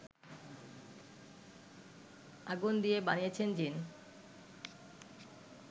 আগুন দিয়ে বানিয়েছেন জ্বিন